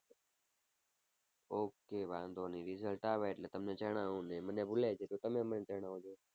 okay વાંધો નહીં result આવે એટલે તમને જણાવું ને મને ભૂલાય જાય તો તમે મને જણાવજો.